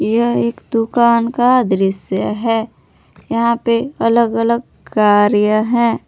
यह एक दुकान का दृश्य है यहां पे अलग अलग कार्य हैं।